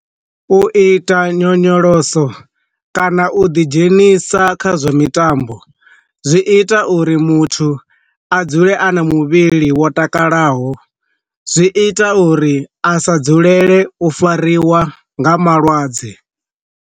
U ita nyonyoloso kana u ḓi dzhenisa kha zwa mitambo zwi ita uri muthu a dzule a na muvhili wo takalaho, zwi ita uri a sa dzulele u fariwa nga malwadze.